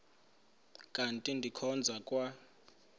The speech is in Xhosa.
kanti ndikhonza kwa